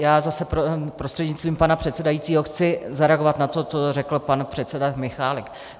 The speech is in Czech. Já zase prostřednictvím pana předsedajícího chci zareagovat na to, co řekl pan předseda Michálek.